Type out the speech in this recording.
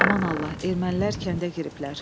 Aman Allah, ermənilər kəndə giriblər.